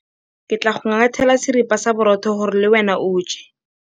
Ke tla go ngathela seripa sa borotho gore le wena o je.